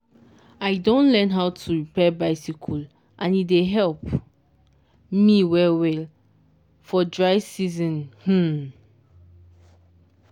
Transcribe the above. i don learn how to repair bicycle and e dey help me well well for dry season um